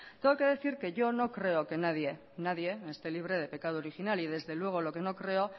tengo que decir que yo no creo que nadie nadie esté libre del pecado original y desde luego lo que no creo